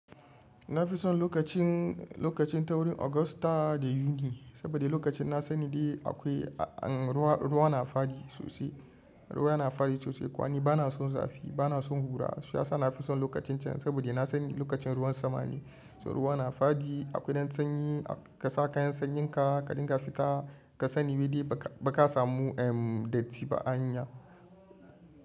Na fi son lokacin, lokacin taurin Agusta da Yuni saboda lokacin na sani dai akwai an ruwa, ruwa na fadi sosai. Ruwa yana fadi sosai kwani ba na son zafi, ba na son hura. Shiyasa na fi son lokacin cen saboda na sani lokacin ruwan sama ne, to ruwa na fadi. Akwai ɗan sanyi ka sa kayan sanyinka ka dinga fita ka sani wadi baka samu dirty ba a hanya.